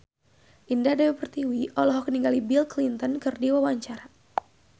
Indah Dewi Pertiwi olohok ningali Bill Clinton keur diwawancara